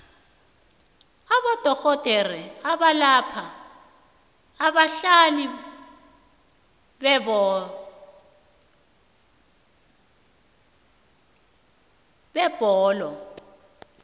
abodorhodere abalapha abadlali bebholo